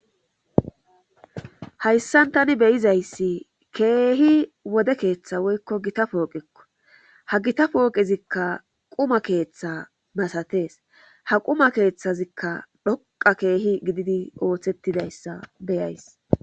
Hayssan tani beyizayssi keehi wode keeththa woykko gita pooqekko ha gita pooqezikka quma keeththa masatees ha quma keeththazikka dhoqa keehi gididi ooththettidayssa beyays.